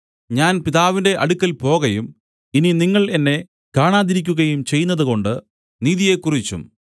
ഞാൻ പിതാവിന്റെ അടുക്കൽ പോകയും നിങ്ങൾ ഇനി എന്നെ കാണാതിരിക്കുകയും ചെയ്യുന്നതുകൊണ്ട് നീതിയെക്കുറിച്ചും